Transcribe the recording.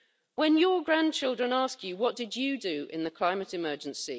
When your grandchildren ask you, what did you do in the climate emergency?',